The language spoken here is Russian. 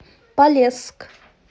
полесск